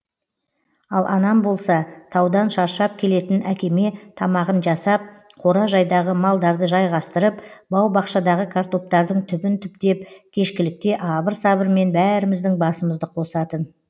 ал анам болса таудан шаршап келетін әкеме тамағын жасап қора жайдағы малдарды жайғастырып бау бақшадағы картоптардың түбін түптеп кешкілікте абыр сабырмен бәріміздің басымызды қосатын